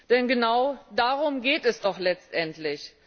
Denn genau darum geht es doch letztendlich.